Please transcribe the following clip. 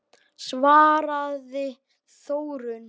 svaraði Þórunn.